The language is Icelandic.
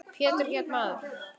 Pétur hét maður.